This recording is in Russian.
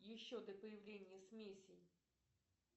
еще до появления смесей